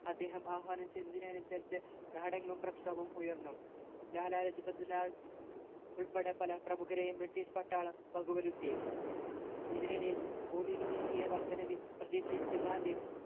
അദ്ദേഹം ആഹ്വാനം ചെയ്തതിനനുസരിച്ചു നാടെങ്ങും പ്രക്ഷോപം ഉയർന്നു ലാലാലജ്പത്‌ റായ് ഉൾപ്പെടെ പല പ്രാമുഖരേയും british പട്ടാളം വകവരുത്തി ഇതിനിടയിൽ ഭൂനികുതിയ്യ വർധനവിൽ പ്രതിഷേധിച്ച ഗാന്ധി